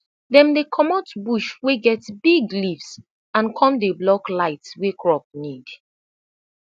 dem dey comot bush wey get big leafs and com dey block light wey crop need